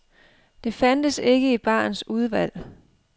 Det fandtes ikke i barens udvalg.